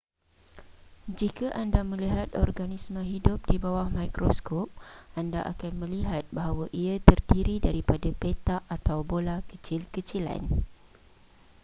jika anda melihat organisma hidup di bawah mikroskop anda akan melihat bahawa ia terdiri daripada petak atau bola kecil-kecilan